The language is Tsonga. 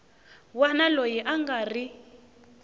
wana loyi a nga ri